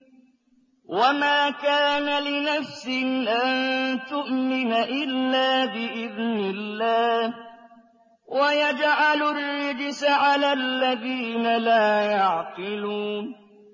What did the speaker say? وَمَا كَانَ لِنَفْسٍ أَن تُؤْمِنَ إِلَّا بِإِذْنِ اللَّهِ ۚ وَيَجْعَلُ الرِّجْسَ عَلَى الَّذِينَ لَا يَعْقِلُونَ